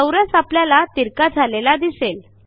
चौरस आपल्याला तिरका झालेला दिसेल